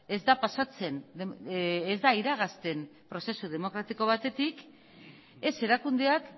ez da pasatzen ez da iragazten prozesu demokratiko batetik ez erakundeak